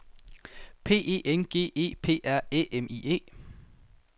P E N G E P R Æ M I E